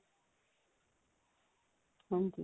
ਹਾਂਜੀ